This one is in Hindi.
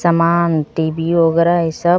समान टी_बी वगैरह सब--